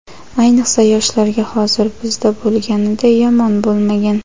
ayniqsa yoshlarga hozir bizda bo‘lganiday yomon bo‘lmagan.